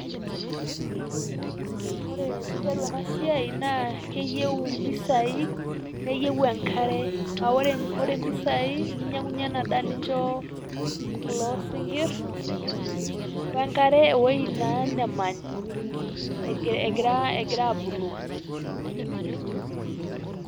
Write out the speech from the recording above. Ore piidol ena siai naa keiyeu mpisai neiyeu enkare a ore, ore mpisai ninyeng'uye endaa nichoo kuloo sinkirr onkare o wueji naa naamany' egira, egira abuluu.